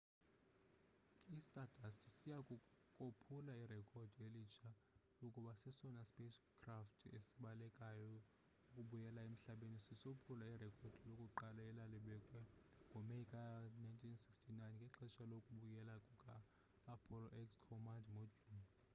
i-stardust siya kophula irekhodi elitsha lokuba sesona sipacecraft sibalekayo ukubuyela emhlabeni sisophula irekhodi lakuqala elalibekwe ngo meyi ka-1969 ngexesha lokubuyela kuka-apollo x command module